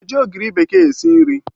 Ị na-eji ogiri bekee esi nri?